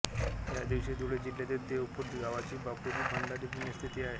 या दिवशी धुळे जिल्ह्यातील देवपूर गावात बापूजी भंडारी पुण्यतिथी असते